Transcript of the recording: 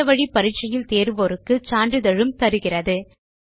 இணைய வழி பரிட்சையில் தேருவோருக்கு சான்றிதழ் அளிக்கிறது